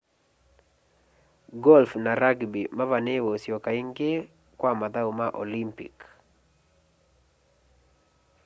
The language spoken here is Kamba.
golf na rugby mavaniiwe usyoka ingi kwa mathau ma olympic